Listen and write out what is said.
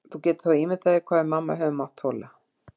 Þú getur þá ímyndað þér hvað við mamma höfum mátt þola.